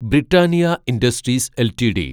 Britannia industries LTD